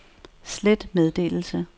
slet meddelelse